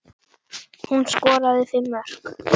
Hún skoraði fimm mörk.